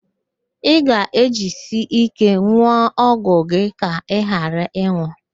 Ị ga-ejisi íké n̄ụọ ọgwụ gị ka ị ghara ịnwụ